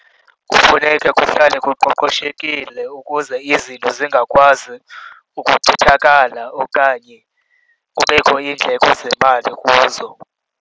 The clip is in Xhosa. Kufuneka kuhlale koqoqoshekile ukuze izinto zingakwazi ukuchithakala okanye kubekho iindleko zemali kuzo.